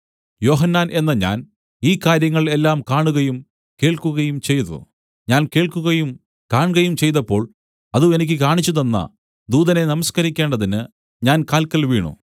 യോഹന്നാൻ എന്ന ഞാൻ ഈ കാര്യങ്ങൾ എല്ലാം കാണുകയും കേൾക്കുകയും ചെയ്തു ഞാൻ കേൾക്കുകയും കാൺകയും ചെയ്തപ്പോൾ അത് എനിക്ക് കാണിച്ചുതന്ന ദൂതനെ നമസ്കരിക്കേണ്ടതിന് ഞാൻ കാൽക്കൽ വീണു